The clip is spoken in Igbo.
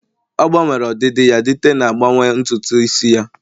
ọ gbanwere ọdịdị ya dite na-agbanwe ntutu isi ya